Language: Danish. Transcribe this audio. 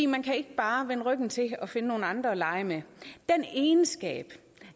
man kan ikke bare vende ryggen til og finde nogle andre at lege med den egenskab